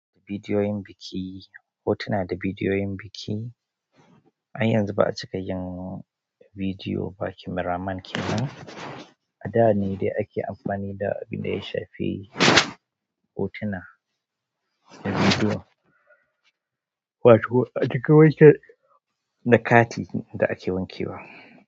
Bidiyoyin biki, hotuna da bidiyoyin biki. Har yanzu ba a cika yin bidiyo ba. Kameraman ke nan. A da ne dai ake amfani da abin da ya shafi hotuna da bidiyo, wato a cika wanke da kati da ake wankewa.